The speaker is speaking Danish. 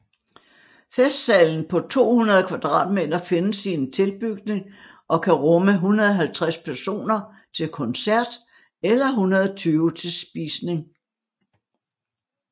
Festsalen på 200 m² findes i en tilbygning og kan rumme 150 personer til koncert eller 120 til spisning